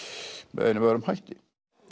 með einum eða öðrum hætti